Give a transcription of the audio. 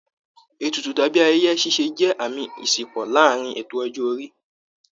Ètùtù tàbí ayẹyẹ ṣíṣe jẹ́ àmì ìṣípò láàárín ètò ọjọ́ orí